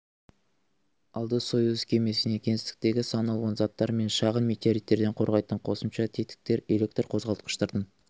алды союз кемесіне кеңістіктегі сан алуан заттар мен шағын метеориттерден қорғайтын қосымша тетіктер электр қозғалтқыштардың